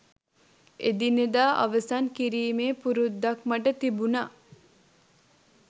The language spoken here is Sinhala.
එදිනෙදා අවසන් කිරීමේ පුරුද්දක් මට තිබුණා